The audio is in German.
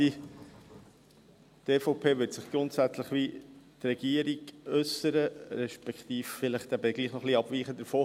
Die EVP wird sich grundsätzlich wie die Regierung äussern, respektive vielleicht eben doch etwas abweichend davon.